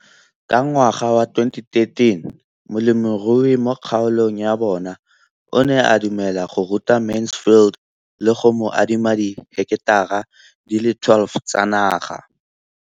Ka ngwaga wa 2013, molemirui mo kgaolong ya bona o ne a dumela go ruta Mansfield le go mo adima di heketara di le 12 tsa naga.